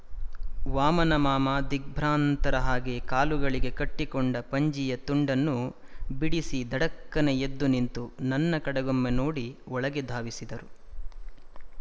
ವಾಮನಮಾಮ ದಿಗ್ಭ್ರಾಂತರ ಹಾಗೆ ಕಾಲುಗಳಿಗೆ ಕಟ್ಟಿಕೊಂಡ ಪಂಜಿಯ ತುಂಡನ್ನು ಬಿಡಿಸಿ ಧಡಕ್ಕನೆ ಎದ್ದು ನಿಂತು ನನ್ನ ಕಡೆಗೊಮ್ಮೆ ನೋಡಿ ಒಳಗೆ ಧಾವಿಸಿದರು